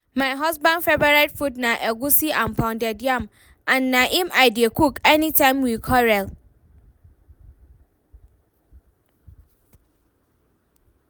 My husband favourite food na egwusi and pounded yam and na im I dey cook anytime we quarrel